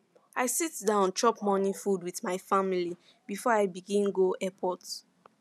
i sit down chop morning food with my family before i begin go airport